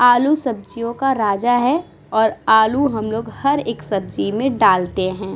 आलू सब्जियों का राजा है और आलू हम लोग हर एक सब्जी में डालते है।